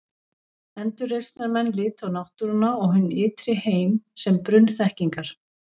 Endurreisnarmenn litu á náttúruna og hinn ytri heim sem brunn þekkingar.